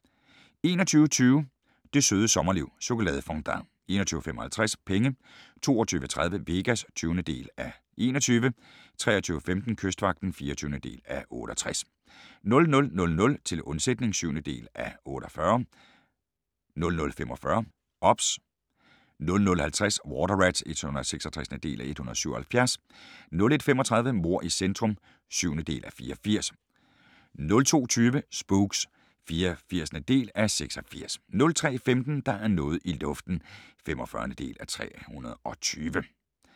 21:20: Det Søde Sommerliv – Chokoladefondant 21:55: Penge 22:30: Vegas (20:21) 23:15: Kystvagten (24:68) 00:00: Til undsætning (7:48) 00:45: OBS 00:50: Water Rats (166:177) 01:35: Mord i centrum (7:84) 02:20: Spooks (84:86) 03:15: Der er noget i luften (45:320)